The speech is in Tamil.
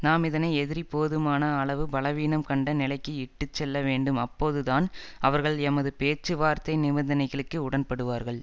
நாம் இதனை எதிரி போதுமான அளவு பலவீனம் கண்ட நிலைக்கு இட்டு செல்ல வேண்டும் அப்போதுதான் அவர்கள் எமது பேச்சுவார்த்தை நிபந்தனைகளுக்கு உடன்படுவார்கள்